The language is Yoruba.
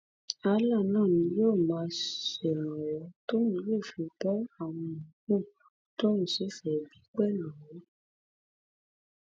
allah náà ni yóò máa ṣèrànwọ tóun yóò fi bo àwọn yòókù tóun sì fẹẹ bí pẹlú